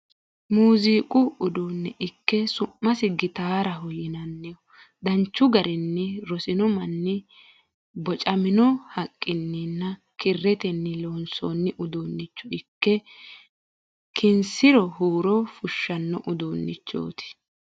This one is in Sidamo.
Muziiqu uduunne ikke su'masi gitaaraho yinanniho. Danchu garinni rosino manni bocamino haqqinninna kirretenni loonsoonni uduunnicho ikke kinsiro huuro fushshanno uduunnichoti.